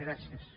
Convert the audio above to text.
gràcies